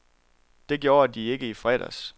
Det gjorde de ikke i fredags.